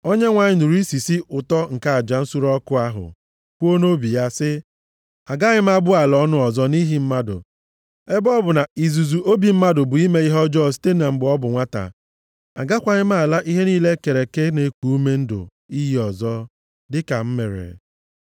Onyenwe anyị nụrụ isisi ụtọ nke aja nsure ọkụ ahụ kwuo nʼobi ya sị, “Agaghị m abụ ala ọnụ ọzọ nʼihi mmadụ, ebe ọ bụ na izuzu obi mmadụ bụ ime ihe ọjọọ site na mgbe ọ bụ nwata, agakwaghị m ala ihe niile e kere eke na-eku ume ndụ iyi ọzọ, dịka m mere.